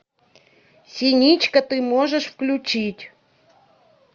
синичка ты можешь включить